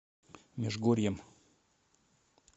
межгорьем